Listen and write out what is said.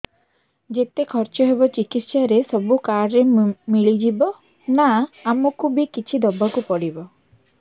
ଯେତେ ଖର୍ଚ ହେବ ଚିକିତ୍ସା ରେ ସବୁ କାର୍ଡ ରେ ମିଳିଯିବ ନା ଆମକୁ ବି କିଛି ଦବାକୁ ପଡିବ